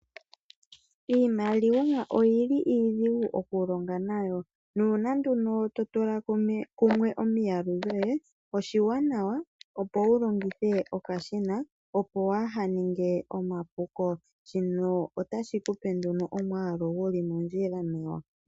Iimaliwa oyili iidhigu okulonga nayo, nuna nduno totula kumwe omiyalu dhoye, oshiwanawa opo wu longithe okashina opo wa ha ninge omapuko, shino ota shikupe nduno omwalu guli mondjila nawa.